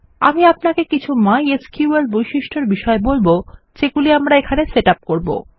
আমি আপনাকে কিছু মাই এসকিউএল বৈশিষ্টর বিষয়ে বলব যেগুলি আমরা এখানে সেট ইউপি করব